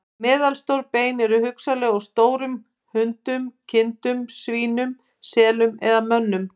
Meðalstór bein eru hugsanlega úr stórum hundum, kindum, svínum, selum eða mönnum.